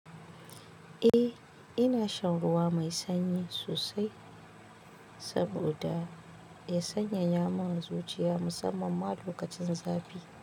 Eh, ina shan ruwa mai sanyi sosai saboda ya sanyaya man zuciya musamman ma lokacin zafi.